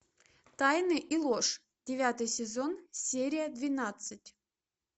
тайны и ложь девятый сезон серия двенадцать